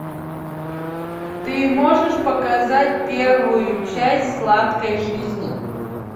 ты можешь показать первую часть сладкой жизни